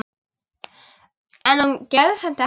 En hún gerði samt ekkert.